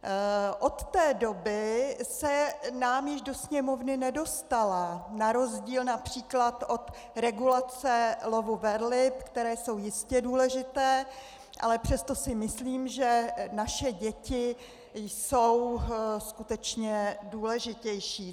Od té doby se nám již do Sněmovny nedostala, na rozdíl například od regulace lovu velryb, které jsou jistě důležité, ale přesto si myslím, že naše děti jsou skutečně důležitější.